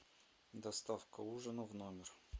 доставка ужина в номер